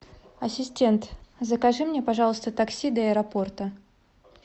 ассистент закажи мне пожалуйста такси до аэропорта